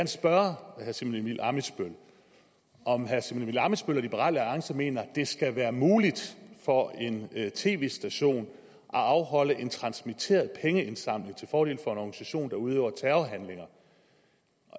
spørge herre simon emil ammitzbøll om herre simon emil ammitzbøll og liberal alliance mener at det skal være muligt for en tv station at afholde en transmitteret pengeindsamling til fordel for en organisation der udøver terror